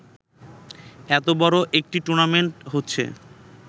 এতো বড় একটি টুর্নামেন্ট হচ্ছে